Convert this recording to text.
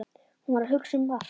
Hún var að hugsa um Mark.